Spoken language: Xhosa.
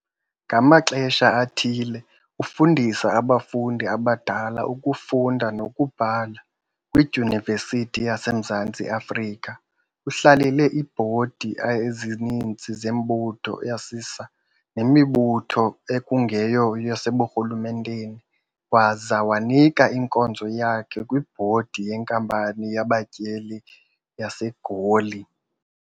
ngamaxesha athile Ufundisa abafundi abadala ukufunda nokubhala kwiDyunivesithi yaseMzantsi Afrika, uhlalele iibhodi ezininzi zemibutho yesisa nemibutho ekungeyo yaseburhulumenteni, waza wanika inkozo yakhe nakwibhodi yenkampani yabaTyeleli yaseGoli.